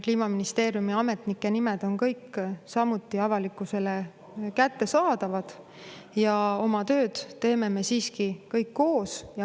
Kliimaministeeriumi ametnike nimed on kõik samuti avalikkusele kättesaadavad ja oma tööd teeme me siiski kõik koos.